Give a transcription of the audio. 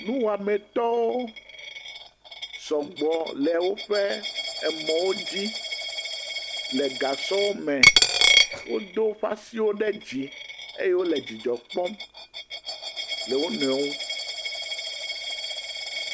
Nuwɔame tɔwo sɔgbɔ le woƒe emɔwo di le gasɔwo me, wo do woƒe asiwo ɖe dzi eye wole dzidzɔ kpɔm, le wo nɔewo ŋu.